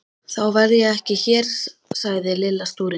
Þá verð ég ekki hér sagði Lilla stúrin.